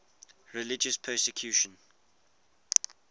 religious persecution